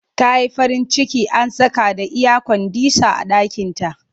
Ta yi farin ciki an saka da iyakwandisah a ɗakinta